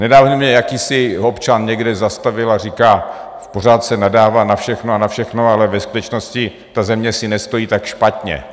Nedávno mě jakýsi občan někde zastavil a říká: Pořád se nadává na všechno a na všechno, ale ve skutečnosti ta země si nestojí tak špatně.